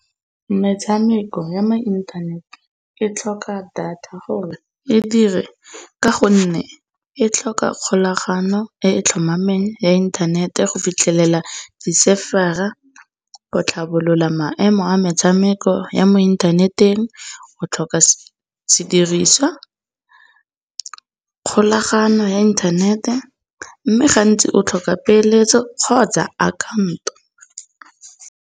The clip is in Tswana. Metshameko ya mo inthanete e tlhoka data gore e dire ka gonne e tlhoka kgolagano e etlhomameng ya inthanete go fitlhelela di-server-a. Go tlhabolola maemo a metshameko ya mo inthaneteng o tlhoka sediriswa, kgolagano ya inthanete mme gantsi o tlhoka peeletso kgotsa akhanto.